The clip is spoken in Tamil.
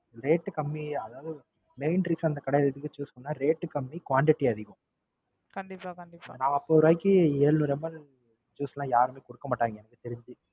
Rate கம்மி. அதாவது Main reason இந்த கடைய எதுக்கு Choose பண்ணனும்னா Rate கம்மி Quantity அதிகம் நாற்பது ரூபாய்க்கு ஏழ்நூறு MI juice எல்லாம் யாருமே கொடுக்க மாட்டங்க. எனக்கு தெரிஞ்சு.